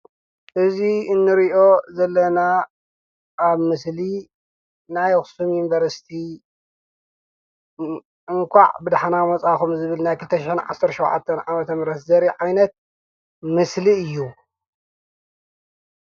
እዙ እኔርዮ ዘለና ኣብ ምስሊ ናይ ኣኽስም ዩንበርስቲ እንቋዕ ብድኅና መፃኹም ዝብል ናይ ኽተሽሐን ዓሠሪ ሸዉዓተን ዓበተምረስ ዘይሪ ዓይነት ምስሊ እዩ።